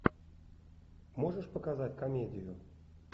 можешь показать комедию